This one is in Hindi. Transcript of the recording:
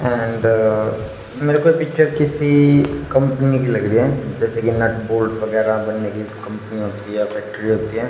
एंड मेरे को पिक्चर किसी कंपनी की लग रही है जैसे कि नट बोल्ट वगैराह बनने की कंपनी होती है या फैक्ट्री होती है।